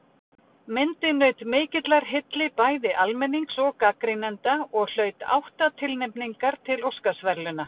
Myndin naut mikillar hylli bæði almennings og gagnrýnenda og hlaut átta tilnefningar til Óskarsverðlauna.